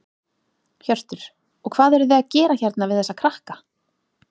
Hjörtur: Og hvað eruð þið að gera hérna við þessa krakka?